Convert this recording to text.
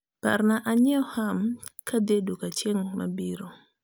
par na anyiew Ham kadhie duka ching mabiro